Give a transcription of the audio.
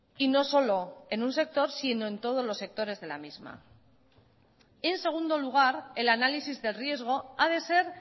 y no solo en un sector sino en todos los sectores de la misma en segundo lugar el análisis de riesgo a de ser